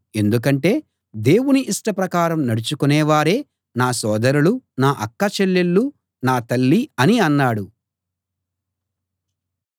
ఎందుకంటే దేవుని ఇష్టప్రకారం నడచుకునే వారే నా సోదరులు నా అక్క చెల్లెళ్ళు నా తల్లి అని అన్నాడు